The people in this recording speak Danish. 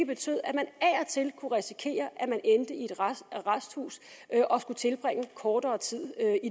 betød at man af og til kunne risikere at arresthus og at skulle tilbringe kortere tid